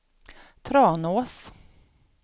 Tranås